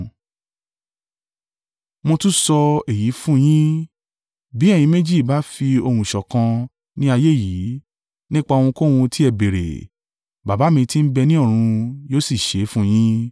“Mo tún sọ èyí fún yín, bí ẹ̀yin méjì bá fi ohùn ṣọ̀kan ní ayé yìí, nípa ohunkóhun tí ẹ béèrè, Baba mi ti ń bẹ ní ọ̀run yóò sì ṣe é fún yín.